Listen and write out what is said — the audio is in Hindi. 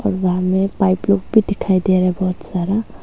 वहां में पाइप लूप भी दिखाई दे रहा है बहुत सारा।